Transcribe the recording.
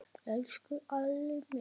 Elsku Alli minn.